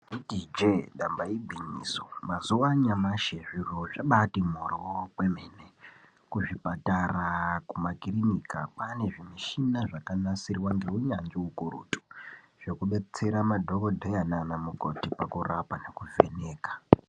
Taiti ijee damba igwinyiso mazuva anyamashi zviro zvabati mhoryo kwemene. Kuzvipatara, kumakirinika kwane zvimishina zvakanasirwa ngeunyanzvi ukurutu zvekubetsera madhogodheya nana mukoti pakurapa nekuvheneka.